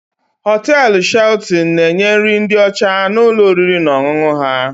Hoteelu Shelton na-enye nri ndị ọcha na ụlọ oriri na ọṅụṅụ ha.